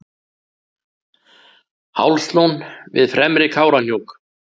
hálslón við fremri kárahnjúk